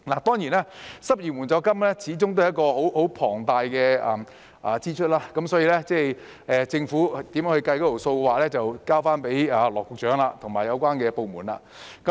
當然，失業援助金始終是一項龐大開支，政府如何計算有關開支，就交給羅局長及有關部門處理。